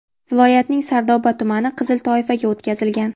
Viloyatning Sardoba tumani qizil toifaga o‘tkazilgan.